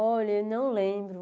Olha, eu não lembro.